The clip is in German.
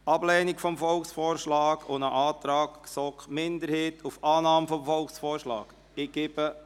Der Volksvorschlag wird mit der Empfehlung auf Annahme des Volksvorschlags unterbreitet.